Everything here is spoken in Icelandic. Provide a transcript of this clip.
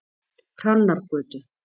Hrannargötu